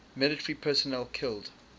military personnel killed